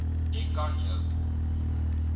jy kan jou